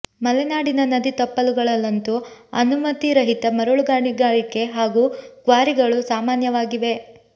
ಮಲೆನಾಡಿನ ನದಿ ತಪ್ಪಲುಗಳಲ್ಲಂತೂ ಅನುಮತಿರಹಿತ ಮರಳು ಗಣಿಗಾರಿಕೆ ಹಾಗೂ ಕ್ವಾರಿಗಳು ಸಾಮಾನ್ಯವಾಗಿವೆ